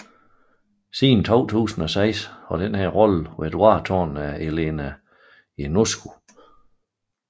Siden 2006 har denne rolle været varetaget af Elena Ionescu